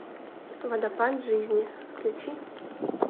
водопад жизни включи